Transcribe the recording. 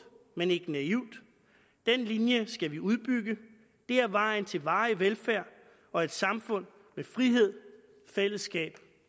men ikke naivt den linje skal vi udbygge det er vejen til varig velfærd og et samfund med frihed fællesskab